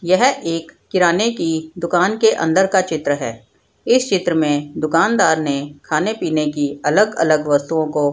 यह एक किराने की दुकान के अंदर का चित्र है इस चित्र में दुकानदार ने खाने पीने की अलग-अलग वस्तुओ को --